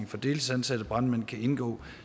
for deltidsansatte brandmænd kan indgå